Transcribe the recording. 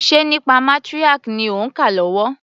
Ṣe nípa matriarch ni òń kà lọ́wọ́?